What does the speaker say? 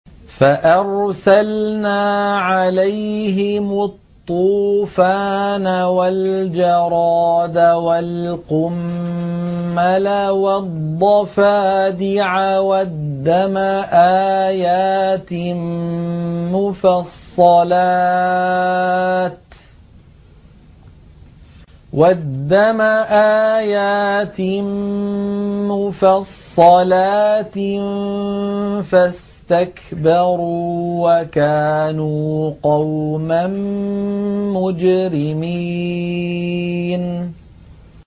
فَأَرْسَلْنَا عَلَيْهِمُ الطُّوفَانَ وَالْجَرَادَ وَالْقُمَّلَ وَالضَّفَادِعَ وَالدَّمَ آيَاتٍ مُّفَصَّلَاتٍ فَاسْتَكْبَرُوا وَكَانُوا قَوْمًا مُّجْرِمِينَ